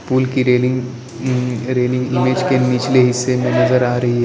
पुल की रेलिंग उम् railing image के निचले हिस्से में नजर आ रही है।